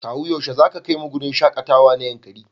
Kawu yaushe zaka kaimu wurin shakatawa na Yankari?